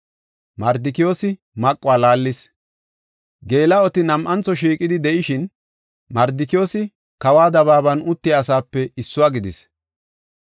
Geela7oti nam7antho shiiqidi de7ishin, Mardikiyoosi kawa dabaaban uttiya asape issuwa gidis.